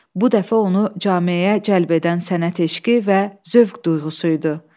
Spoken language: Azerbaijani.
Bu dəfə onu cameyə cəlb edən sənət eşqi və zövq duyğusu idi.